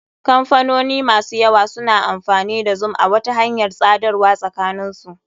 Kamfanoni masu yawa suna amfani da zoom a wata hanyar tsadarwa sakanin su.